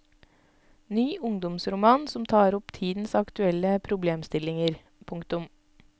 Ny ungdomsroman som tar opp tidens aktuelle problemstillinger. punktum